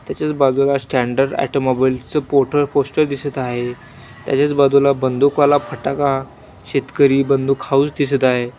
त्याच्याच बाजूला standard automobile च पोर्टर पोस्टर दिसत आहे त्याच्याच बाजूला बंदूकवाला फटाका शेतकरी बंदूक हाऊस दिसत आहे.